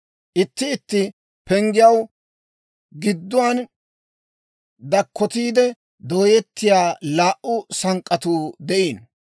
Itti itti penggiyaw gidduwaan dakkotiide dooyettiyaa laa"u sank'k'atuu de'iino.